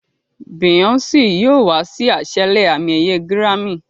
Beyoncé yóò wá sí àṣálẹ́ àmì-ẹ̀yẹ gírámì.